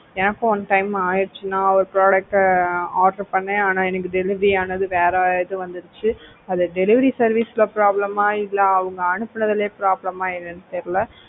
எனக்கும் one time ஆயிடுச்சு நான் ஒரு product order பண்ணேன் ஆனா எனக்கு delivery ஆனது வேற இது வந்துடுச்சு இது delivery service ல problem ஆ இல்ல அவங்க அனுப்புனதிலேயே problem ஆ என்னன்னு தெரியல